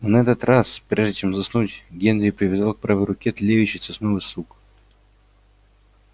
но на этот раз прежде чем заснуть генри привязал к правой руке тлеющий сосновый сук